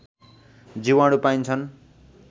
जीवाणु पाइन्छन्